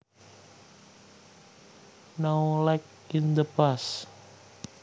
Now like in the past